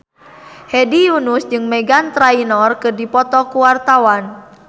Hedi Yunus jeung Meghan Trainor keur dipoto ku wartawan